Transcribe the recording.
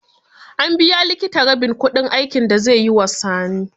An biya likitan rabin kudin aikin da zai yi wa Sani.